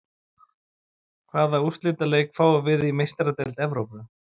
Hvaða úrslitaleik fáum við í Meistaradeild Evrópu?